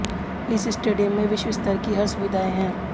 इस स्टेडियम में विश्व स्तर की हर सुविधाएँ हैं